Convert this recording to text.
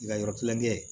I ka yɔrɔ kilankɛ